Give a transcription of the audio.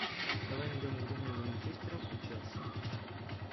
давай найдем игру между манчестером и челси